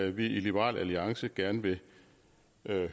i liberal alliance gerne vil